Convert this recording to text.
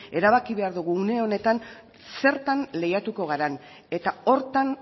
erabaki behar dugu une honetan zertan lehiatuko garen eta horretan